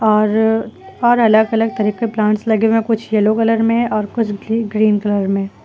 और और अलग अलग तरह के प्लांट्स लगे हुए हैं कुछ येलो कलर में है और कुछ ग्री ग्रीन कलर में।